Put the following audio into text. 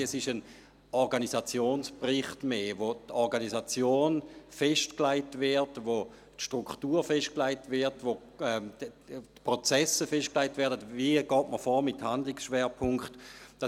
Nein, es ist eher ein Organisationsbericht, in dem die Organisation, die Struktur festgelegt wird, in dem die Prozesse festgelegt werden, dahingehend, wie man mit Handlungsschwerpunkten vorgeht.